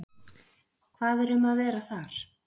Hvað er um að vera þar?